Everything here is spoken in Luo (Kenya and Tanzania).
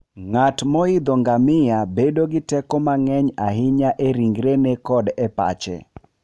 Ng'at moidho ngamia bedo gi teko mang'eny ahinya e ringrene koda e pache.